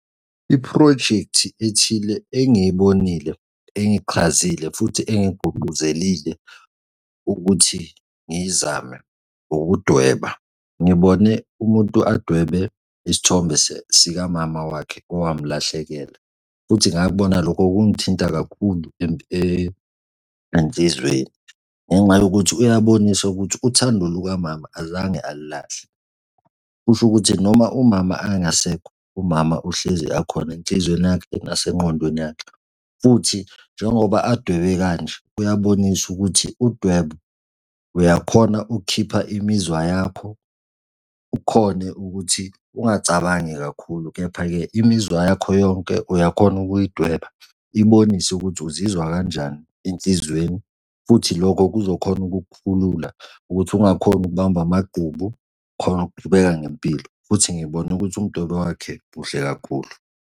Iphrojekthi ethile engiyibonile engichazile futhi engigqungquzelile ukuthi ngiyizame, ukudweba. Ngibone umuntu adwebe isithombe sika mama wakhe owamulahlekela, futhi ngakubona lokho kungithinta kakhulu enhlizweni ngenxa yokuthi uyabonisa ukuthi uthando luka mama azange alilahle. Kusho ukuthi noma umama angasekho, umama uhlezi akhona enhlizweni yakhe nasengqondweni yakhe. Futhi, njengoba adwebe kanje, uyabonisa ukuthi udwebo uyakhona ukukhipha imizwa yakho, ukhone ukuthi ungacabangi kakhulu, kepha-ke imizwa yakho yonke uyakhona ukuyidweba ibonise ukuthi uzizwa kanjani enhlizweni, futhi lokho kuzokhona ukukukhulula ukuthi ungakhoni ukubamba amagqubu ukhone ukuqhubeka ngempilo. Futhi ngibone ukuthi umdwebeo wakhe muhle kakhulu.